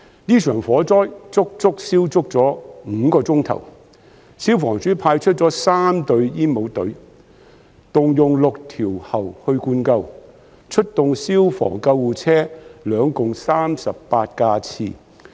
這場火災足足持續了5小時，消防處派出了3隊煙帽隊，動用6條喉灌救，並出動消防車和救護車共38架次。